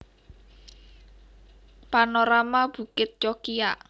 Panorama Bukit Cokiak